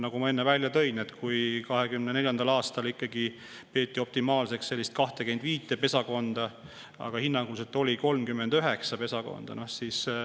Nagu ma enne välja tõin, 2024. aastal peeti optimaalseks 25 pesakonda, aga oli hinnanguliselt 39 pesakonda.